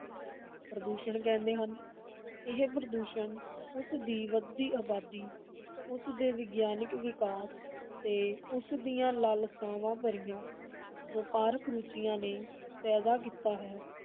ਪ੍ਰਦੂਸ਼ਣ ਕਹਿੰਦੇ ਹਨ, ਇਹ ਪ੍ਰਦੂਸ਼ਣ ਉਸਦੀ ਵਧਦੀ ਅਬਾਦੀ, ਉਸਦੇ ਵਿਗਿਆਨਕ ਵਿਕਾਸ ਤੇ ਉਸਦੀਆਂ ਲਾਲਸਾਵਾਂ ਭਰੀਆਂ ਵਪਾਰਕ ਰੁਚੀਆਂ ਨੇ ਪੈਦਾ ਕੀਤਾ ਹੈ,